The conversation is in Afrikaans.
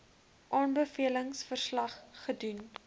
aanbevelings verslag gedoen